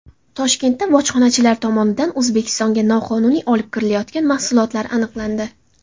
Toshkentda bojxonachilar tomonidan O‘zbekistonga noqonuniy olib kirilayotgan mahsulotlar aniqlandi.